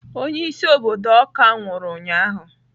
onye-isi obodo awka nwuru ụnyahụ.